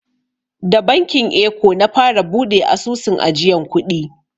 Da bankin eko na fara buɗe asusun ajiyan kuɗi.